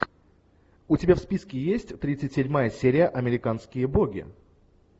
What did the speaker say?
у тебя в списке есть тридцать седьмая серия американские боги